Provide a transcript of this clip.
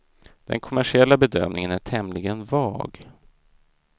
Den kommersiella bedömningen är tämligen vag.